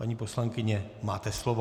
Paní poslankyně, máte slovo.